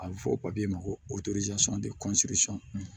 A bɛ fɔ ma ko